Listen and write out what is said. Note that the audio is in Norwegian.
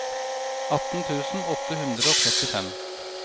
atten tusen åtte hundre og trettifem